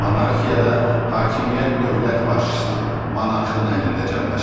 Monarxiyada hakimiyyət dövlət başçısının, monarxın əlində cəmləşir.